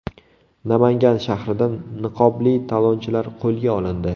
Namangan shahrida niqobli talonchilar qo‘lga olindi.